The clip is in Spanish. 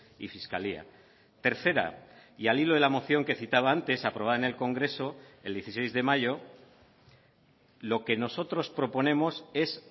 y fiscalía tercera y al hilo de la moción que citaba antes aprobada en el congreso el dieciséis de mayo lo que nosotros proponemos es